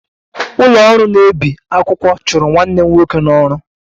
Ụlọ ọrụ na-ebi akwụkwọ chụrụ nwanne m nwoke n'ọrụ